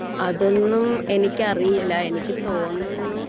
അതൊന്നും എനിക്ക് അറിയില്ല എനിക്ക് തോന്നുന്നു